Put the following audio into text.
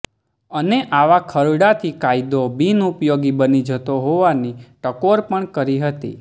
અને આવા ખરડાથી કાયદો બિન ઉપયોગી બની જતો હોવાની ટકોર પણ કરી હતી